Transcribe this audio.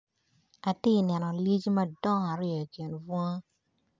Ati neno lyecci madong aryo i kin bunga.